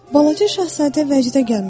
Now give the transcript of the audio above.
Balaca şahzadə vəcdə gəlmişdi.